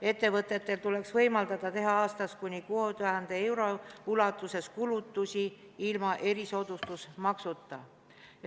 Ettevõtetele tuleks võimaldada teha aastas kuni 6000 euro ulatuses kulutusi ilma erisoodustusmaksuta.